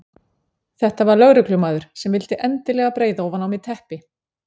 Þetta var lögreglumaður sem vildi endilega breiða ofan á mig teppi.